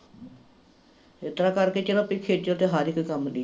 ਏਸਤਰਾਂ ਕਰਕੇ ਚੱਲੋ ਵੀ ਖੇਚਲ ਤੇ ਹਰ ਇੱਕ ਕੰਮ ਦੀ ਐ